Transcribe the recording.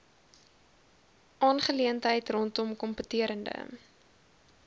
aangeleentheid rondom kompeterende